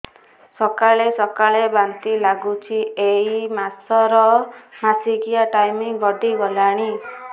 ସକାଳେ ସକାଳେ ବାନ୍ତି ଲାଗୁଚି ଏଇ ମାସ ର ମାସିକିଆ ଟାଇମ ଗଡ଼ି ଗଲାଣି